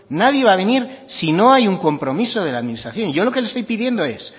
nadie va a venir si no hay un compromiso de la administración yo lo que le estoy pidiendo es